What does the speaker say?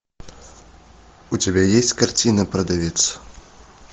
у тебя есть картина продавец